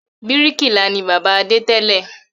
Bíríkìlà ni bàbá Adé tẹ́lẹ̀